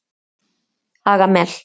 Hagamel